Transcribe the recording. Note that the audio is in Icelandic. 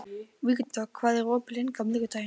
Vígdögg, hvað er opið lengi á miðvikudaginn?